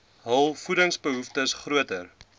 hul voedingsbehoeftes groter